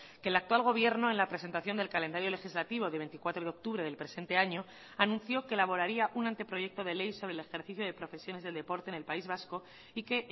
que el actual gobierno en la presentación del calendario legislativo de veinticuatro de octubre del presente año anunció que elaboraría un anteproyecto de ley sobre el ejercicio de profesiones del deporte en el país vasco y que